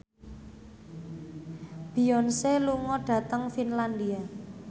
Beyonce lunga dhateng Finlandia